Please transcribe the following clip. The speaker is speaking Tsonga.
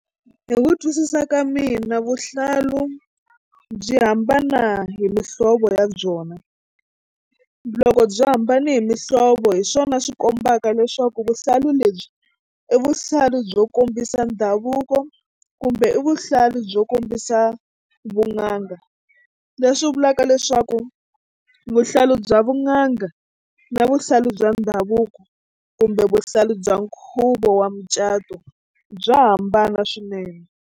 Hi ku twisisa ka mina vuhlalu byi hambana hi muhlovo ya byona loko byi hambane hi muhlovo hi swona swi kombaka leswaku vuhlalu lebyi i vuhlalu byo kombisa ndhavuko kumbe i vuhlalu byo kombisa vun'anga leswi vulaka leswaku vuhlalu bya vun'anga na vuhlalu bya ndhavuko kumbe vuhlalu bya nkhuvo wa mucato bya hambana swinene.